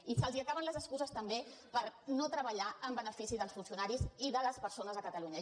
i se’ls acaben les excuses també per no treballar en benefici dels funcionaris i de les persones a catalunya